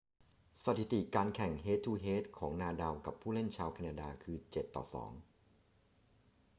สถิติการแข่งเฮด-ทู-เฮดของนาดาลกับผู้เล่นชาวแคนาดาคือ 7-2